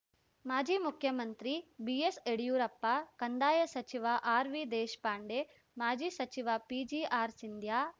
ಮಾಜಿ ಮುಖ್ಯಮಂತ್ರಿ ಬಿಎಸ್‌ಯಡಿಯೂರಪ್ಪ ಕಂದಾಯ ಸಚಿವ ಆರ್‌ವಿದೇಶ್ ಪಾಂಡೆ ಮಾಜಿ ಸಚಿವ ಪಿಜಿಆರ್‌ ಸಿಂಧ್ಯ